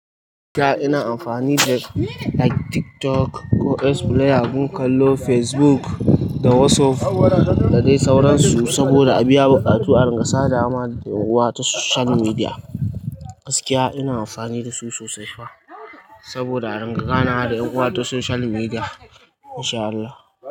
Gaskiya ina amfani da like TikTok ko X play abun kallo, Facebook da WhatsApp da dai sauransu saboda a biya buƙatu a rangsa da ama da yawa ta social media. Gaskiya ina amfani da su sosai fa saboda a rangana da 'yar'uwata social media. Masha Allah.